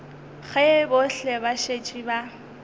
ge bohle ba šetše ba